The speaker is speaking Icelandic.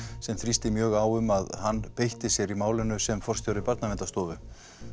sem þrýsti mjög á um að hann beitti sér í málinu sem forstjóri Barnaverndarstofu